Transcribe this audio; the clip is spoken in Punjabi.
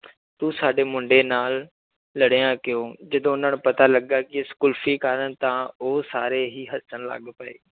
ਤੂੰ ਸਾਡੇ ਮੁੰਡੇ ਨਾਲ ਲੜਿਆ ਕਿਉਂ ਜਦ ਉਹਨਾਂ ਨੂੰ ਪਤਾ ਲੱਗਾ ਕਿ ਇਸ ਕੁਲਫ਼ੀ ਕਾਰਨ ਤਾਂ ਉਹ ਸਾਰੇ ਹੀ ਹੱਸਣ ਲੱਗ ਪਏ।